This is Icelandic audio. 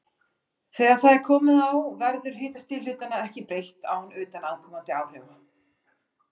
Þegar það er komið á verður hitastigi hlutanna ekki breytt án utanaðkomandi áhrifa.